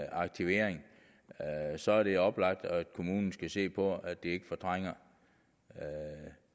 aktivering så er det oplagt at kommunen skal se på at de ikke fortrænger